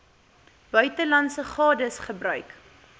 buitelandse gades gebruik